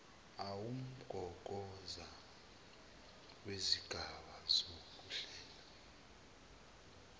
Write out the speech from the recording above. uwumgogodla wesigaba sokuhlela